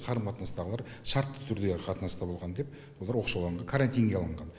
қарым қатынастағылар шартты түрдегі қатынаста болған деп олар оқшауланған карантинге алынған